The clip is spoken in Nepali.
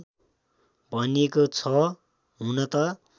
भनिएको छ हुन त